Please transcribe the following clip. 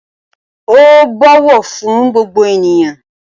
O n bọwọ fún gbogbo ènìyàn.